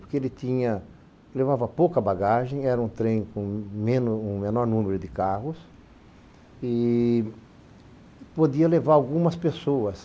Porque ele levava pouca bagagem, era um trem com me um menor número de carros e podia levar algumas pessoas.